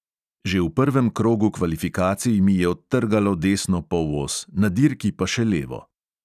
Že v prvem krogu kvalifikacij mi je odtrgalo desno polos, na dirki pa še levo.